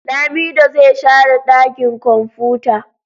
Lamido zai share dakin kwamfuta.